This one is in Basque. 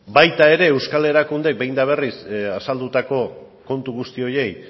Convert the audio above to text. baita ere euskal erakunde behin eta berriz azaldutako kontu guzti horiei